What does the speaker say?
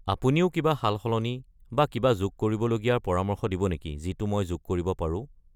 আপুনিও কিবা সালসলনি বা কিবা যোগ কৰিবলগীয়াৰ পৰামৰ্শ দিব নেকি যিটো মই যোগ কৰিব পাৰো?